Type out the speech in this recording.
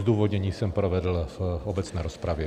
Zdůvodnění jsem provedl v obecné rozpravě.